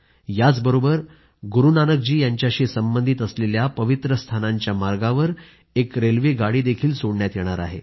याचबरोबर गुरूनानक जी यांच्याशी संबंधित असलेल्या पवित्र स्थानांच्या मार्गावर एक रेल्वे गाडीही सोडण्यात येणार आहे